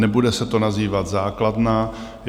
Nebude se to nazývat základna.